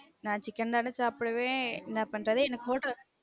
நான் chicken தான சாப்ப்டுவே என்ன பண்றது எனக்கு hotel